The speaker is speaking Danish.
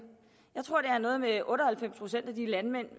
er noget med otte og halvfems procent af de landmænd